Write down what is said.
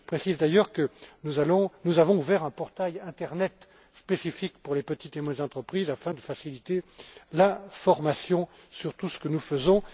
questions. Je précise d'ailleurs que nous avons ouvert un portail internet spécifique pour les petites et moyennes entreprises afin de faciliter l'information sur tout ce que nous